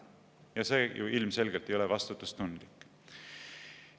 Ja see ju ilmselgelt ei ole vastutustundlik.